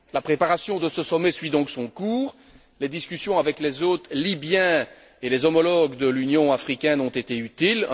La préparation de ce sommet suit donc son cours. Les discussions avec les hôtes libyens et les homologues de l'Union africaine ont été utiles.